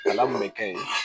ka ɲi